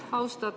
Aitäh!